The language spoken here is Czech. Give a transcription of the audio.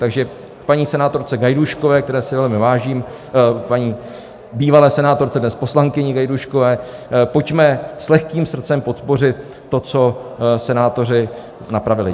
Takže paní senátorce Gajdůškové, které si velmi vážím, paní bývalé senátorce, dnes poslankyni Gajdůškové: pojďme s lehkým srdcem podpořit to, co senátoři napravili.